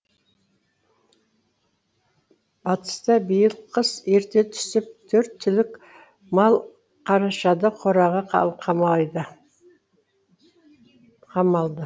батыста биыл қыс ерте түсіп төрт түлік мал қарашада қораға қамалды